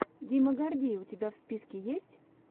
дима гордей у тебя в списке есть